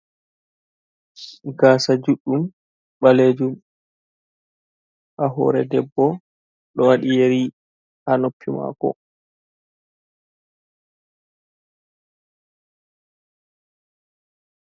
Gasa juɗɗum ɓalejum ha hore debbo ɗo waɗi yeri ha noppi mako.